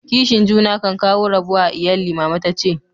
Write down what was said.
Kishin juna kan kawo rabuwa a lyalli, mama ta ce.